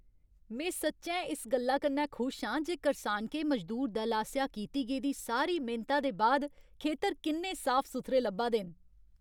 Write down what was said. में सच्चैं इस गल्ला कन्नै खुश आं जे करसानके मजदूर दल आसेआ कीती गेदी सारी मेह्नता दे बाद खेतर किन्ने साफ सुथरे लब्भा दे न।